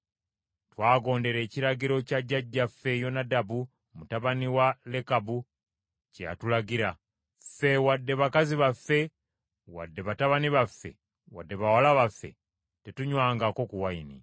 Twagondera ekiragiro kya jjajjaffe Yonadabu mutabani wa Lekabu kye yatulagira. Ffe wadde bakazi baffe wadde batabani baffe wadde bawala baffe tetunywangako ku nvinnyo,